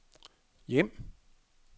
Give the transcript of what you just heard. hjem